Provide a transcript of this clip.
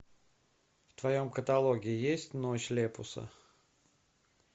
в твоем каталоге есть ночь лепуса